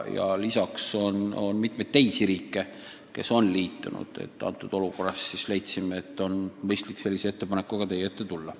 Säärases olukorras leidsime, et on mõistlik sellise ettepanekuga teie ette tulla.